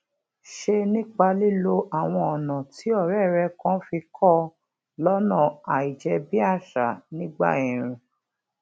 ṣe nípa lílo àwọn ònà tí òré rè kan fi kó ọ lónà àìjébíàṣà nígbà èèrùn